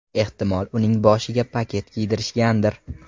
Ehtimol uning boshiga paket kiydirishgandir.